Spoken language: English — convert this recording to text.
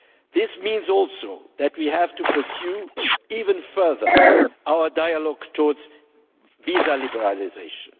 This means too that we have to pursue even further our dialogue towards visa liberalisation.